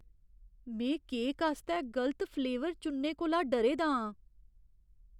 में केक आस्तै गलत फलेवर चुनने कोला डरे दा आं।